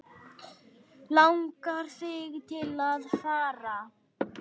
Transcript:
Langar þig til að fara?